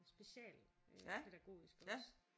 Special øh pædagogiske også